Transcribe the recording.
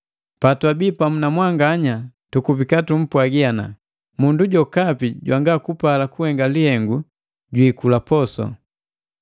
Patwabi pamu na mwanganya tukubika tumpwagi, “Mundu jokapi jwanga kupala kuhenga lihengu jwiikula posu.”